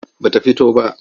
Ba ta fito ba.